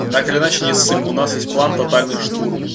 ну так или иначе не ссым у нас есть план тотальный штурм